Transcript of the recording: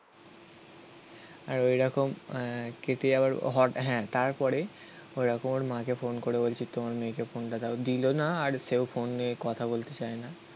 আর ঐরকম আহ কেটে যাওয়ার হ্যাঁ তারপরে ওরকম ওর মাকে ফোন করে বলছি তোমার মেয়েকে ফোনটা দাও, দিলো না, আর সেও ফোন নিয়ে কথা বলতে চায় না.